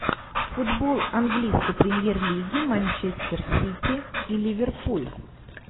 футбол английской премьер лиги манчестер сити и ливерпуль